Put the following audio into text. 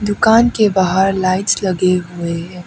दुकान के बाहर लाइट्स लगे हुए हैं।